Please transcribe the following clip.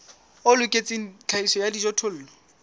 o loketseng tlhahiso ya dijothollo